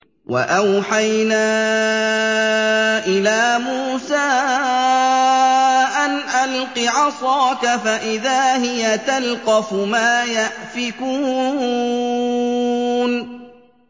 ۞ وَأَوْحَيْنَا إِلَىٰ مُوسَىٰ أَنْ أَلْقِ عَصَاكَ ۖ فَإِذَا هِيَ تَلْقَفُ مَا يَأْفِكُونَ